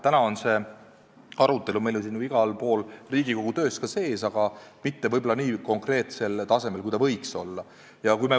Täna on see arutelu meil siin ju igal pool Riigikogu töös sees, aga mitte võib-olla nii konkreetsel tasemel, kui võiks olla.